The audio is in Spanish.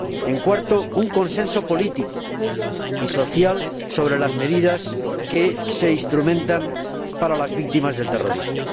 En cuarto lugar, un consenso político y social sobre las medidas que se instrumentan para las víctimas del terrorismo.